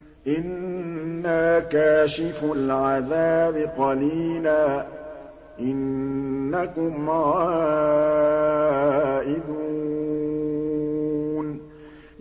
إِنَّا كَاشِفُو الْعَذَابِ قَلِيلًا ۚ إِنَّكُمْ عَائِدُونَ